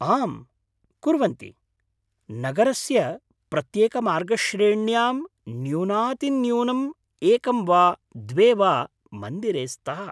आम्, कुर्वन्ति। नगरस्य प्रत्येकमार्गश्रेण्यां न्यूनातिन्यूनम् एकं वा द्वे वा मन्दिरे स्तः।